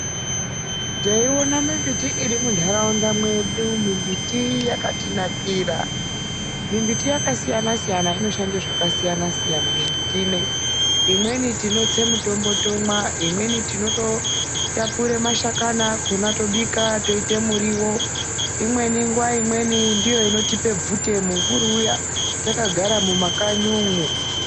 Teiona mimbiti iri munharaunda mwedu, mimbiti yakatinakira, mimbiti yakasiyana siyana, inoshanda zvakasiayana siyana mimbiti inei. Imweni tinotse mitombo tomwa, imweni tinototapura mashakani akhona totobika toite muriwo. Imweni nguwa imweni inotipa bvute, mumvuri uyani takagara mumakanyi umwo.